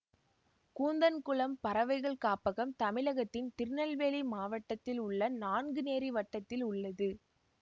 கூந்தன்குளம் பறவைகள் காப்பகம் தமிழகத்தின் திருநெல்வேலி மாவட்டத்தில் உள்ள நான்குநேரி வட்டத்தில் உள்ளது